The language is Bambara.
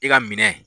I ka minɛn